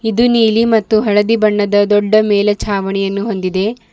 ದು ನೀಲಿ ಮತ್ತು ಹಳದಿ ಬಣ್ಣದ ದೊಡ್ಡ ಮೇಲ ಚಾವಣಿಯನ್ನು ಹೊಂದಿದೆ.